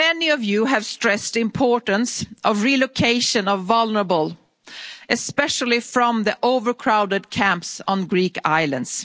say this. Many of you have stressed the importance of relocation of vulnerable especially from the overcrowded camps on the Greek